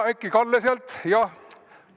Äkki Kalle sealt?